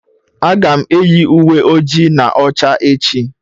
Aga m eyi uwe ojii na ọcha echi.